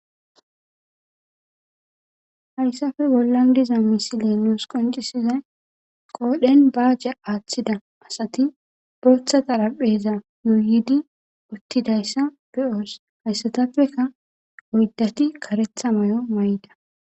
Hayssafe gollan diza misileenoos qoncisizay qoodhen baajja aaththida asati botha tarapheza yuuyidi uttidayssa be'oos hayssatappeka oyddati karetha may'o may'da.